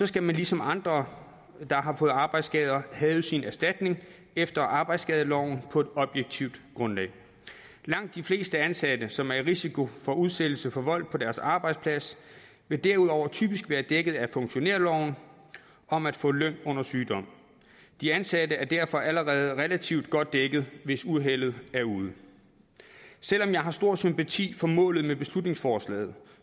skal man ligesom andre der har fået arbejdsskader have sin erstatning efter arbejdsskadeloven på et objektivt grundlag langt de fleste ansatte som er i risiko for udsættelse for vold på deres arbejdsplads vil derudover typisk være dækket af funktionærloven om at få løn under sygdom de ansatte er derfor allerede relativt godt dækket hvis uheldet er ude selv om jeg har stor sympati for målet med beslutningsforslaget